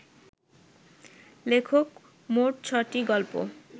লেখক মোট ছ’টি গল্প